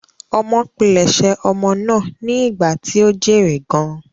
Ọmọ pilẹ̀sẹ̀ ọmọ náà ni ìgbà tí ó jèrè gan-an.